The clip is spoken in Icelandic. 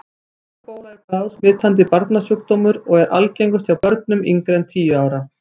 Hlaupabóla er bráðsmitandi barnasjúkdómur og er algengust hjá börnum yngri en tíu ára.